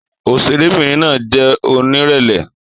Òṣèrébìnrin náà jẹ́ onírẹ̀lẹ̀.